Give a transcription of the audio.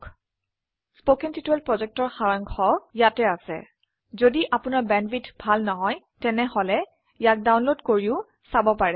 1 কথন শিক্ষণ প্ৰকল্পৰ সাৰাংশ ইয়াত আছে যদি আপোনাৰ বেণ্ডৱিডথ ভাল নহয় তেনেহলে ইয়াক ডাউনলোড কৰি চাব পাৰে